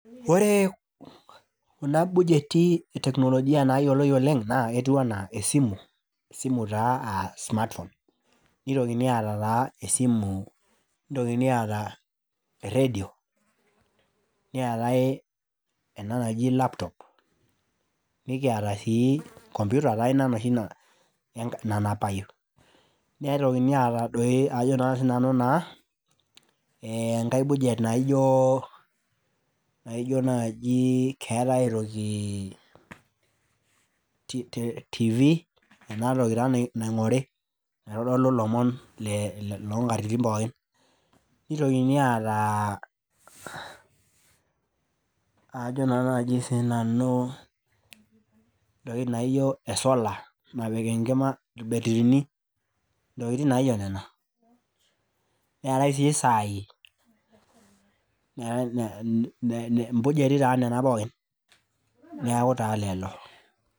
Ore kuna bujeti e teknolojia nayioloi oleng' naa ketiu anaa esimu, esimu taa aa smartphone, nitokini aata taa esimu, nitokini aata eredio, neetae ena naji laptop, nikiata sii computer taa ina enoshi nanapayu. Nitokini aata doi ajo naa sinanu naa enkae bujet naijo naji keetae aitoki tv enatoki naa naing'ori, naitodolu ilomon le nkatitin pookin. Nitokini aata ee aajo naa sinanu ntoki naijo esola napik enkima irbetirini, ntokitin naijo nena. Neetae sii isaai ne ne impujejiti naa nena pookin, niaku taa lelo.